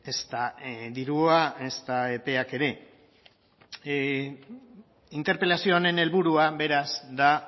ezta dirua ezta epeak ere interpelazio honen helburua beraz da